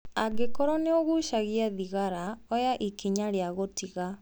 Angĩkorwo nĩ ũgucagia thigara, oya ikinya rĩa gũtiga